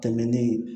Tɛmɛnen